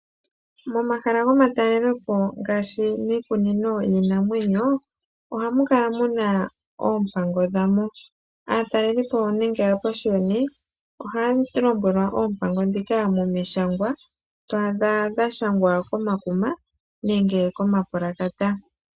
Momahala gomatalelepo ngaashi miikunino yiinamwenyo ohamu kala mu na oompango dha mo. Aatalelipo nenge aapashiyoni ohaya lombwelwa oompango ndhika pamishangwa, to adha dhashangwa komakuma nenge komapulakata.